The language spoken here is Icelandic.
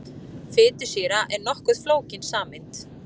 Fitusýra er nokkuð flókin sameind.